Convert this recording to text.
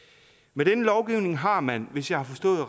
med denne lovgivning har man hvis jeg har forstået